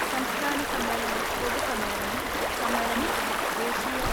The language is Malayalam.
സംസ്ഥാന സമ്മേളനം പൊതുസമ്മേളനം സമ്മേളനത്തിന് ദേശീയ